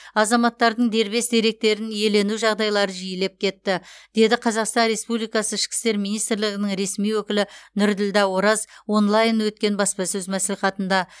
азаматтардың дербес деректерін иелену жағдайлары жиілеп кетті деді қазақстан республикасы ішкі істер министрлігінің ресми өкілі нұрділдә ораз онлайн өткен баспасөз мәслихатында